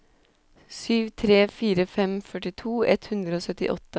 sju tre fire fem førtito ett hundre og syttiåtte